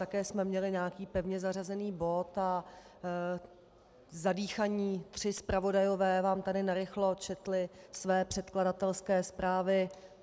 Také jsme měli nějaký pevně zařazený bod a zadýchaní tři zpravodajové vám tady narychlo četli své předkladatelské zprávy.